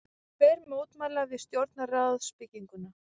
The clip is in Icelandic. Tveir mótmæla við stjórnarráðsbygginguna